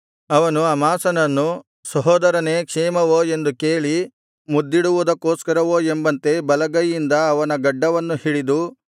ಅವನು ಅಮಾಸನನ್ನು ಸಹೋದರನೇ ಕ್ಷೇಮವೋ ಎಂದು ಕೇಳಿ ಮುದ್ದಿಡುವುದಕ್ಕೋಸ್ಕರವೋ ಎಂಬಂತೆ ಬಲಗೈಯಿಂದ ಅವನ ಗಡ್ಡವನ್ನು ಹಿಡಿದು